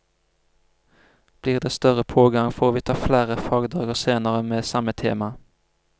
Blir det større pågang får vi ta flere fagdager senere med samme tema.